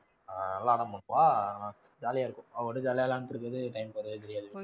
ஆஹ் அதெல்லாம் வந்து இப்போ jolly யா இருக்கும். அவ கூட jolly யா விளையாண்டிட்டிருக்கிறது time போறதே தெரியாது.